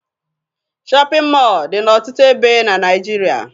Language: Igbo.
Shọpịn mọọ dị n'ọtụtụ ebe na Naịjirịa